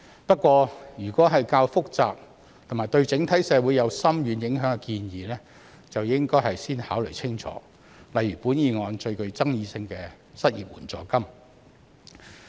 不過，如果是較複雜和對整體社會有深遠影響的建議，則應該先考慮清楚，例如本議案最具爭議性的失業援助金。